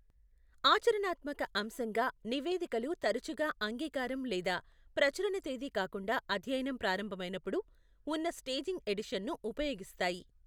ఆచరణాత్మక అంశంగా, నివేదికలు తరచుగా అంగీకారం లేదా ప్రచురణ తేదీ కాకుండా అధ్యయనం ప్రారంభమైనప్పుడు ఉన్న స్టేజింగ్ ఎడిషన్ను ఉపయోగిస్తాయి.